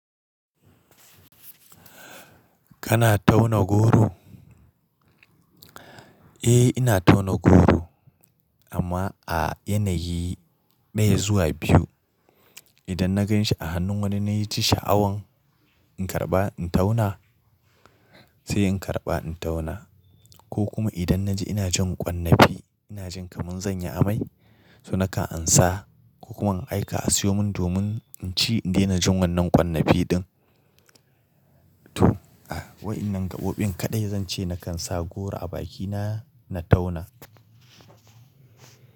Kana tauna goro? Eh ina tauna goro amma a yanayi ɗaya zuwa biyu. Idan na ganshi a hannun wani na yi ci sha'awan in karɓa in tauna sai in karɓa in tauna. Ko kuma idan na ji ina jin ƙwannafi ina jin kamar zan yi amai, so nakan ansa ko kuma in aika a siyo mun domin in ci in daina jin wannan ƙwannafi ɗin. To, a wayannan gaɓoɓin kaɗai zan ce nakan sa goro a bakina na tauna.